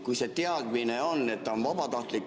Kui see teadmine on, et see on vabatahtlik ...